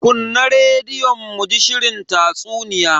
Kunna rediyon muji shirin tatsuniya.